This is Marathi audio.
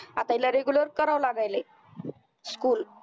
आता हिला regular करावं लागायलंय school